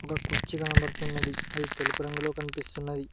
ఒక కుర్చీ కనపడుతున్నది అది తెలుపు రంగులో కనిపిస్తున్నది.